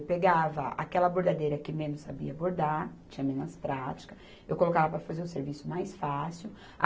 Eu pegava aquela bordadeira que menos sabia bordar, tinha menos prática, eu colocava para fazer o serviço mais fácil.